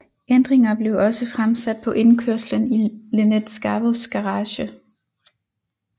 Ændringer blev også fremsat på indkørslen i Lynette Scavos garage